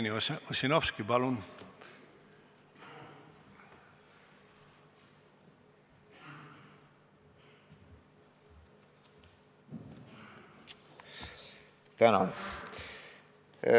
Jevgeni Ossinovski, palun!